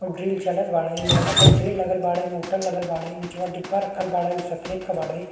और ड्रिल चलत बाड़े। लोहा के ड्रिल लगल बाड़े मोटर लगल बाड़े। निचवा डिब्बा रखल बाड़े उ सफ़ेद का बाड़े।